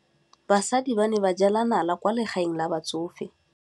Basadi ba ne ba jela nala kwaa legaeng la batsofe.